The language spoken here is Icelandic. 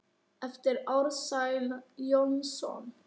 eftir Ársæl Jónsson